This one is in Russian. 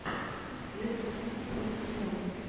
лестер сити против челси